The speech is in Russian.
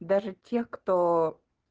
даже те кто